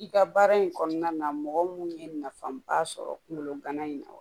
I ka baara in kɔnɔna na mɔgɔ mun ye nafaba sɔrɔ kungolo gana in na wa